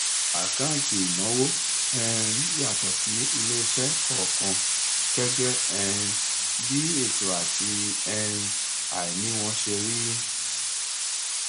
àkáǹtì ìnáwó um yàtọ sí iléiṣẹ kọọkan gẹgẹ um bí ètò àti um aini wọn ṣe rí